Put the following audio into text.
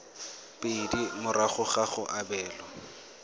pedi morago ga go abelwa